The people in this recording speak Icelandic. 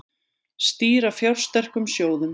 Stýra fjársterkum sjóðum